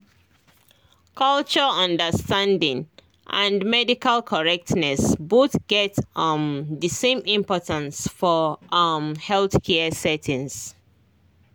culture understanding and medical correctness both get um the same importance for um healthcare settings